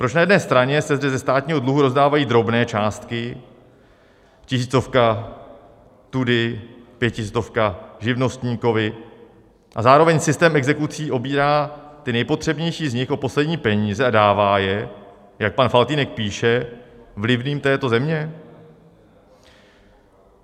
Proč na jedné straně se zde ze státního dluhu rozdávají drobné částky - tisícovka tudy, pětistovka živnostníkovi - a zároveň systém exekucí obírá ty nejpotřebnější z nich o poslední peníze a dává je, jak pan Faltýnek píše, vlivným této země?